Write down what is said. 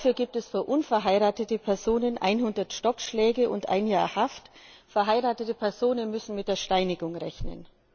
Dafür gibt es für unverheiratete Personen einhundert Stockschläge und ein Jahr Haft, verheiratete Personen müssen mit der Steinigung rechnen.